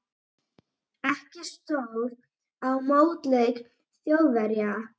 Ekki stóð á mótleik Þjóðverja.